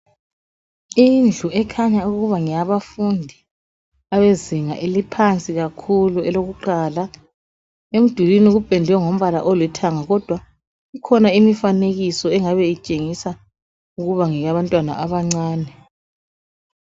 Indlu ekhanya ukuba ngeyabafundi abezinga eliphansi kakhulu elokuqala. Emdulwini kupendwe ngombala olithanga kodwa kukhona imifanekiso engabe itshengisa ukuba ngeyabantwana abancane.